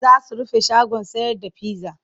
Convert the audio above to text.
Za su rufe shagon sayar da pizza.